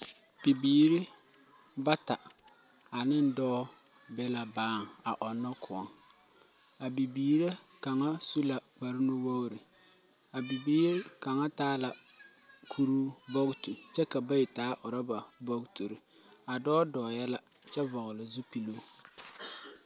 Bibiiri bata, ane dɔɔ be la baaŋ ɔnnɔ kõɔ. A bibiiri kaŋa su la kparenuwogri. A bibiiri kaŋa taa la kuruu bogitu kyɛ ka bayi taa orɔba bogituri. A dɔɔ dɔɔɛ la kyɛ vɔgele zupiluu.